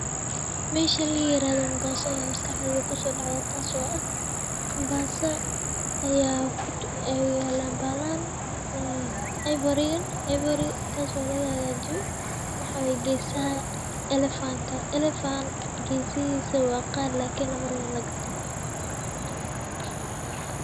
Meesha layirahdo mombasa aya maskaxdeyda kusodacde ayay yalan bahalahan ee ivory oo lagahagajiyo oo waxa waye fan oo gesahisa wa qali lamarawo inii lagato.